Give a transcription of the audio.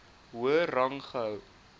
hoër rang gehou